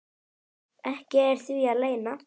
ekki er því að leyna.